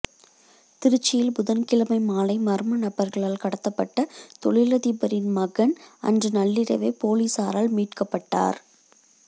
திருச்சியில் புதன்கிழமை மாலை மா்ம நபா்களால் கடத்தப்பட்ட தொழிலதிபரின் மகன் அன்று நள்ளிரவே போலீஸாரால் மீட்கப்பட்டாா்